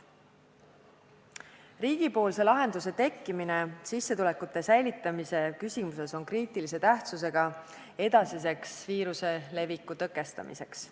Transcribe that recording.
Riigipoolse lahenduse tekkimine sissetuleku säilitamise küsimuses on kriitilise tähtsusega viiruse leviku edasiseks tõkestamiseks.